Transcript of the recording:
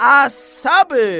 Əssəbr!